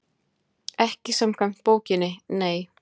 Ekki samkvæmt bókinni, nei.